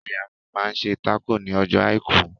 Ìyá mi máa ń ṣe tákò ní ọjọ́ àìkú.